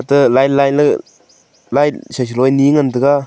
te line line ley light seseloe ni ngan tega.